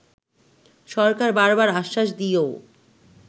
সরকার বারবার আশ্বাস দিয়েও